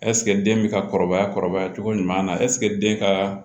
ɛsike den bɛ ka kɔrɔbaya kɔrɔbaya cogo ɲuman na ɛsike den ka